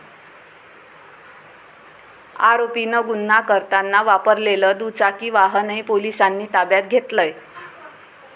आरोपीनं गुन्हा करताना वापरलेलं दुचाकी वाहनही पोलिसांनी ताब्यात घेतलंय.